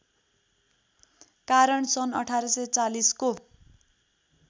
कारण सन् १८४० को